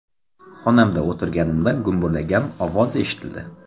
Xonamda o‘tirganimda gumburlagan ovoz eshitildi.